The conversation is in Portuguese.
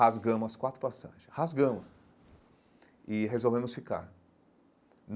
Rasgamos as quatro passagens, rasgamos, e resolvemos ficar.